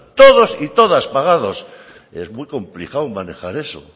todos y todas pagados es muy complicado manejar eso